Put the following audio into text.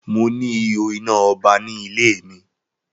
Mo ni ihò iná ọba ní ilẹ mi